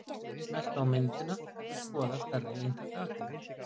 Smelltu á myndina til að skoða stærra eintak af henni.